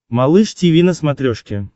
малыш тиви на смотрешке